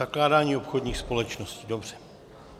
Zakládání obchodních společností, dobře.